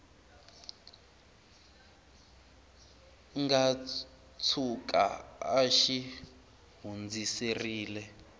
nga tshuka a xi hundziserile